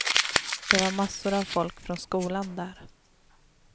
Det var massor av folk från skolan där.